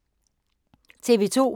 TV 2